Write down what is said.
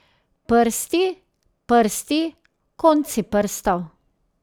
Prsti, prsti, konci prstov.